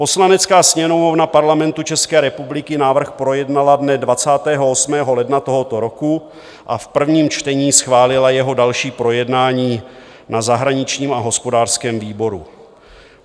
Poslanecká sněmovna Parlamentu České republiky návrh projednala dne 28. ledna tohoto roku a v prvním čtení schválila jeho další projednání na zahraničním a hospodářském výboru.